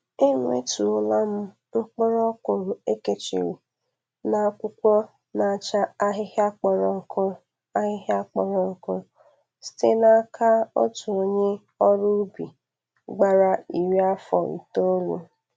Enwettụọla m mkpụrụ ọkwụrụ e.kechiri n'akwụkwọ na-acha ahịhịa kpọrọ nkụ ahịhịa kpọrọ nkụ site n'aka otu onye ọrụ ubi gbara iri afọ itolu.